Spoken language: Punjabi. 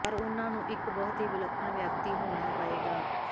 ਪਰ ਉਨ੍ਹਾਂ ਨੂੰ ਇੱਕ ਬਹੁਤ ਹੀ ਵਿਲੱਖਣ ਵਿਅਕਤੀ ਹੋਣਾ ਪਏਗਾ